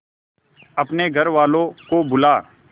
अपने घर वालों को बुला